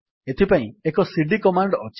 ଏଥିପାଇଁ ଏକ CD command ଅଛି